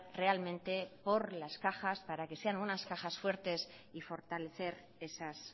realmente por las cajas para que sea unas cajas fuertes y fortalecer esas